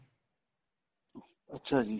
ਅੱਛਾ ਜੀ